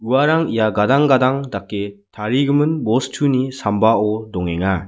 uarang ia gadang gadang dake tarigimin bostuni sambao dongenga.